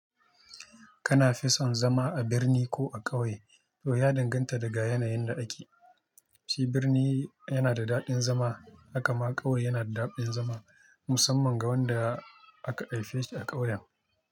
Kana fi son zama a birni ko a ƙauye? To ya danganta daga yanayin da ake. Shi birni yana da daɗin zama, haka ma ƙauye yana da daɗin zama musamman ga wanda aka haife shi a ƙauyen.